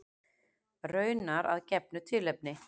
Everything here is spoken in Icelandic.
Raunar að gefnu tilefni.